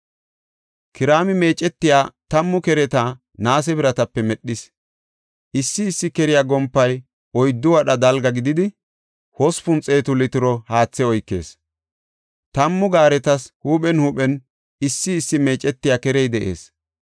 Kiraami meecetiya tammu kereta naase biratape medhis; issi issi keriya gompay oyddu wadha dalga gididi, hospun xeetu litiro haathe oykees; tammu gaaretas huuphen huuphen issi issi meecetiya kerey de7ees.